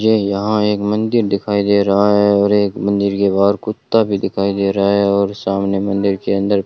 ये यहां एक मंदिर दिखाई दे रहा है और एक मंदिर के बाहर कुत्ता भी दिखाई दे रहा है और सामने मंदिर के अंदर --